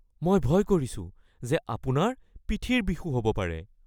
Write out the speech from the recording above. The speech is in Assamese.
মই ভয় কৰিছো যে আপোনাৰ পিঠিৰ বিষো হ'ব পাৰে। (ডাক্তৰ)